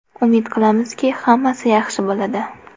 Umid qilamizki, hammasi yaxshi bo‘ladi.